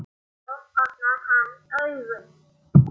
Þá opnar hann augun.